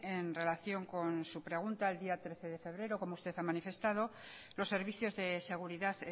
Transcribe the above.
en relación con su pregunta el día trece de febrero como usted ha manifestado los servicios de seguridad